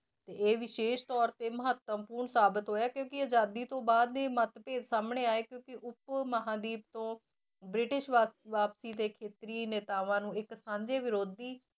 ਤੇ ਇਹ ਵਿਸ਼ੇਸ਼ ਤੌਰ ਤੇ ਮਹੱਤਵਪੂਰਨ ਸਾਬਿਤ ਹੋਇਆ ਕਿਉਂਕਿ ਆਜ਼ਾਦੀ ਤੋਂ ਬਾਅਦ ਮੱਤਭੇਦ ਸਾਹਮਣੇ ਆਏ ਕਿਉਂਕਿ ਉੱਪ ਮਹਾਂਦੀਪ ਤੋਂ ਬ੍ਰਿਟਿਸ਼ ਵਾ~ ਵਾਪਸੀ ਦੇ ਖੇਤਰੀ ਨੇਤਾਵਾਂ ਨੂੰ ਇੱਕ ਸਾਂਝੇ ਵਿਰੋਧੀ